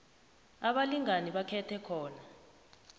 abalingani bakhethe khona